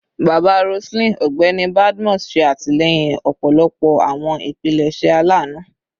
Baba Roseline, Ọgbẹni Badmus, ṣe atilẹyin ọpọlọpọ awọn ipilẹṣẹ alanu